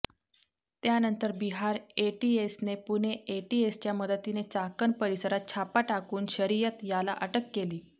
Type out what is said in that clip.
त्यानंतर बिहार एटीएसने पुणे एटीएसच्या मदतीने चाकण परिसरात छापा टाकून शरियत याला अटक केली